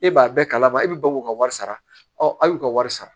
E b'a bɛɛ kalama e bɛ bɔ k'u ka wari sara ɔ a y'u ka wari sara